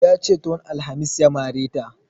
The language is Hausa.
Yace tun alhamis ya mare ta